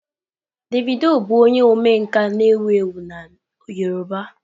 Davido bụ onye omenkà na-ewu ewu na yoruba.